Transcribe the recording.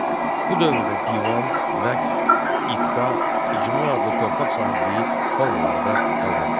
Bu dövrdə divan, vəqf, iqta, icma adlı torpaq sahibliyi formaları da qalmaqda idi.